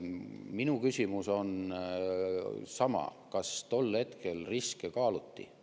Minu küsimus on sama: kas tol hetkel riske kaaluti?